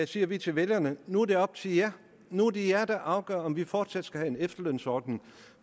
siger vi til vælgerne nu er det op til jer nu er det jer der afgør om vi fortsat skal have en efterlønsordning